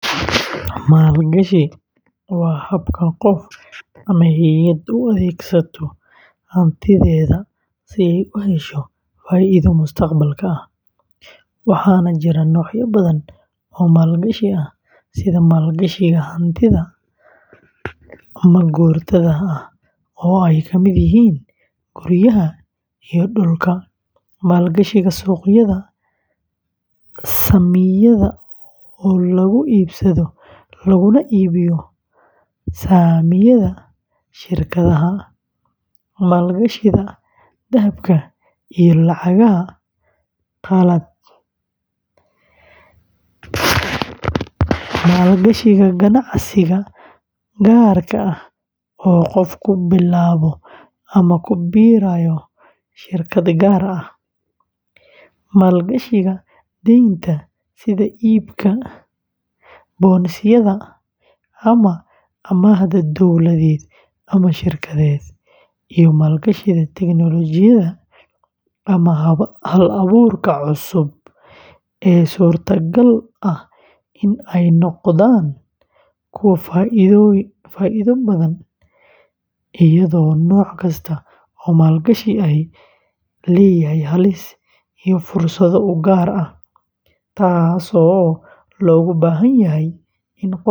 Maalgashi waa habka qof ama hay’ad u adeegsato hantideeda si ay u hesho faa’iido mustaqbalka ah, waxaana jira noocyo badan oo maalgashi ah sida maalgashiga hantida ma-guurtada ah oo ay ka mid yihiin guryaha iyo dhulka, maalgashiga suuqyada saamiyada oo lagu iibsado laguna iibiyo saamiyada shirkadaha, maalgashiga dahabka iyo lacagaha qalaad, maalgashiga ganacsiga gaarka ah oo qofku bilaabo ama ku biirayo shirkad gaar ah, maalgashiga deynta sida iibka bonds-yada ama amaahda dowladeed ama shirkadeed, iyo maalgashiga tiknoolajiyada ama hal-abuurka cusub ee suurtagalka ah in ay noqdaan kuwa faa’iido badan, iyadoo nooc kasta oo maalgashi ahi leeyahay halis iyo fursado u gaar ah, taasoo looga baahan yahay in qofka maalgashanaya.